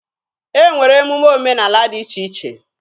E nwere emume omenaala dị iche iche.